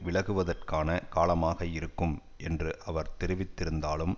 விலகுவதற்கான காலமாக இருக்கும் என்று அவர் தெரிவித்திருந்தாலும்